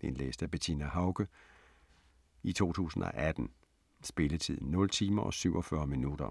Indlæst af Bettina Haucke, 2018. Spilletid: 0 timer, 47 minutter.